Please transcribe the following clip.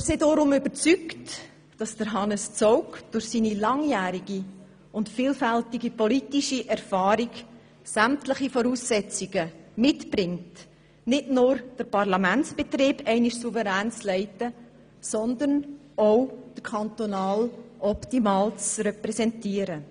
Wir sind deshalb überzeugt, dass Hannes Zaugg durch seine langjährige und vielfältige politische Erfahrung sämtliche Voraussetzungen mitbringt, nicht nur den Parlamentsbetrieb dereinst souverän zu leiten, sondern auch den Kanton optimal zu repräsentieren.